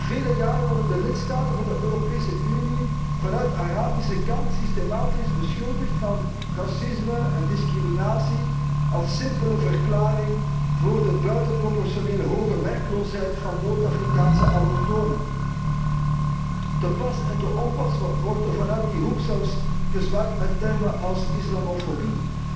Al vele jaren worden de lidstaten van de Europese Unie vanuit de Arabische hoek systematisch beschuldigd van racisme en discriminatie als simpele verklaring voor de buitenproportioneel hoge werkloosheid van Noord Afrikaanse allochtonen. Te pas en te onpas wordt er vanuit die hoek zelfs gezwaaid met termen als islamofobie.